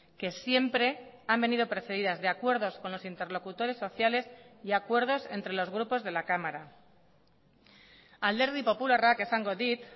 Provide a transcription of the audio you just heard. que siempre han venido precedidas de acuerdos con los interlocutores sociales y acuerdos entre los grupos de la cámara alderdi popularrak esango dit